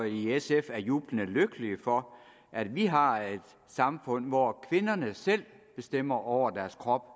i sf er jublende lykkelige for at vi har et samfund hvor kvinderne selv bestemmer over deres krop